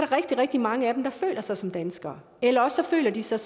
rigtig rigtig mange af dem der føler sig som danskere eller også føler de sig